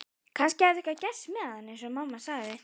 Kannski hafði eitthvað gerst með hann eins og mamma sagði.